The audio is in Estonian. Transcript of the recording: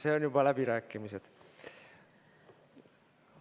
Sinul on juba läbirääkimised.